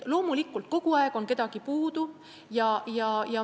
Loomulikult, kogu aeg on kedagi puudu.